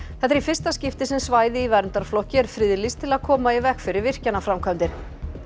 þetta er í fyrsta skipti sem svæði í verndarflokki er friðlýst til að koma í veg fyrir virkjanaframkvæmdir